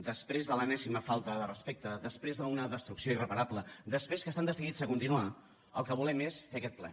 després de l’enèsima falta de respecte després d’una destrucció irreparable després que estan decidits a continuar el que volem és fer aquest ple